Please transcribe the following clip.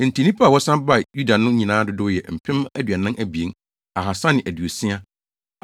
Enti nnipa a wɔsan baa Yuda no nyinaa dodow yɛ mpem aduanan abien, ahaasa ne aduosia (42,360),